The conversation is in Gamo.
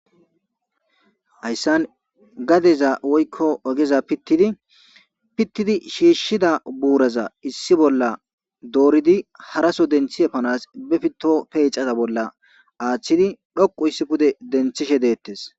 hayssan gadeza woykko ogeza pittidi pittidi shiishshida buuraza issi bolla dooridi haraso denthi epanas bepito peecata bolla aaththidi dhoqu histi pude denthishe deettes.